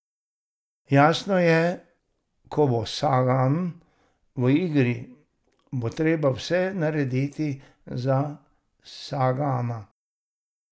Jasno je, ko bo Sagan v igri, bo treba vse narediti za Sagana.